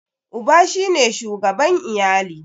Uba shi ne shugaban iyali.